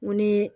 N ko ni